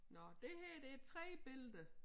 Nå det her det 3 billeder